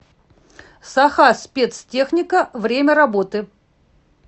сахаспецтехника время работы